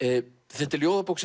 þetta er ljóðabók